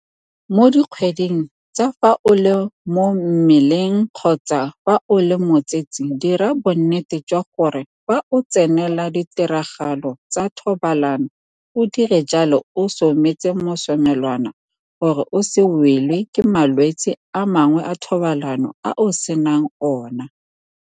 Mo dikgweding tsa fa o le mo mmeleng kgotsa fa o le motsetse dira bonnete jwa gore fa o tsenela ditiragalo tsa thobalano o dira jalo o sometse mosomelwana gore o se welwe ke malwetse a mangwe a thobalano a o senang ona.